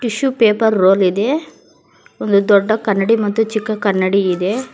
Tissue paper roll ಇದೆ ಒಂದು ದೊಡ್ಡ ಕನ್ನಡಿ ಮತ್ತು ಚಿಕ್ಕ ಕನ್ನಡಿ ಇದೆ.